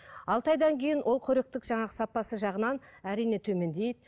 алты айдан кейін ол қоректік жаңағы сапасы жағынан әрине төмендейді